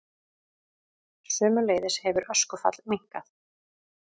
Sömuleiðis hefur öskufall minnkað